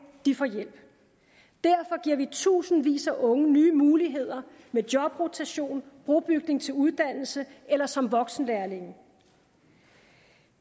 får hjælp derfor giver vi tusindvis af unge nye muligheder med jobrotation brobygning til uddannelse eller som voksenlærlinge